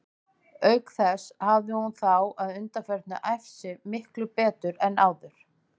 Auk þess hafði hún þá að undanförnu æft sig miklu betur en áður.